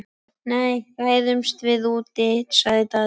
Nei, ræðumst við úti, sagði Daði.